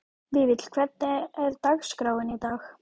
Vífill, hvernig er dagskráin í dag?